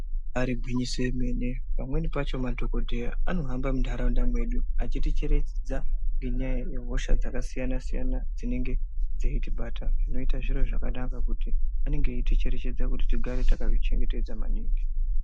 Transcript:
Ribaari gwinyiso emene pamweni pacho madhokodheya anohamba muntaraunda mwedu, achiticherechedza ngenyaya yehosha dzakasiyana -siyana dzinenge dzeitibata. Zvinoita zviro zvakanaka kuti vanenge veiticherechedza kuti tigare takazvichengetedza maningi.